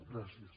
gràcies